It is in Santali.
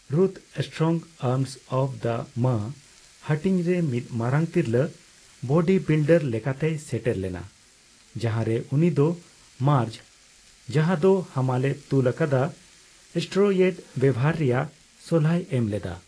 ᱨᱩᱛᱷ ''strong arms of the ma'' ᱦᱟᱹᱴᱤᱧ ᱨᱮ ᱢᱤᱫ ᱢᱟᱨᱟᱝ ᱛᱤᱨᱞᱟᱹ ᱵᱚᱰᱤ ᱵᱤᱞᱰᱟᱨ ᱞᱮᱠᱟᱛᱮᱭ ᱥᱮᱴᱮᱨ ᱞᱮᱱᱟ, ᱡᱟᱸᱦᱟᱨᱮ ᱩᱱᱤ ᱫᱚ ᱢᱟᱨᱡᱽ, ᱡᱟᱦᱟᱸᱭ ᱫᱚ ᱦᱟᱢᱟᱞᱮ ᱛᱩᱞ ᱟᱠᱟᱫᱟ, ᱥᱮᱴᱨᱭᱮᱰ ᱵᱮᱣᱦᱟᱨ ᱨᱮᱭᱟᱜ ᱥᱚᱞᱦᱟᱭ ᱮᱢ ᱞᱮᱫᱟ ᱾